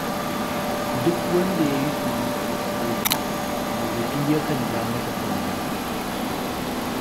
Duk wanda ya yi surutu a kotu, muhti ya kan ja masa kunne.